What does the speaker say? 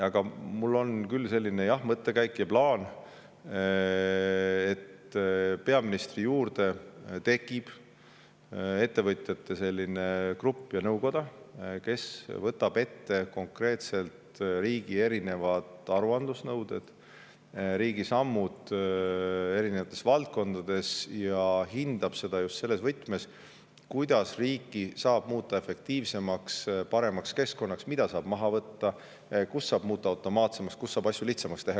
Aga mul on küll selline mõttekäik ja plaan, et peaministri juurde tekib selline ettevõtjate grupp ja nõukoda, kes võtab ette konkreetselt riigi aruandlusnõuded, riigi sammud eri valdkondades, ja hindab seda just selles võtmes, kuidas muuta riiki efektiivsemaks ja paremaks keskkonnaks, mida saab maha võtta, kus saab muuta midagi automaatsemaks ja kus saab asju lihtsamaks teha.